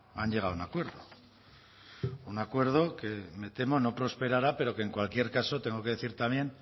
han llegado a un acuerdo un acuerdo que me temo no prosperará pero que en cualquier caso tengo que decir también